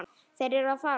Þeir eru að fara.